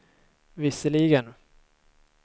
visserligen